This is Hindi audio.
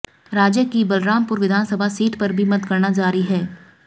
राज्य की बलरामपुर विधानसभा सीट पर भी मतगणना जारी है